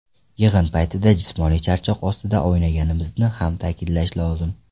Yig‘in paytida jismoniy charchoq ostida o‘ynaganimizni ham ta’kidlash lozim.